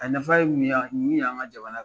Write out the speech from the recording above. A nafa ye mun ɲɛ an ka jamana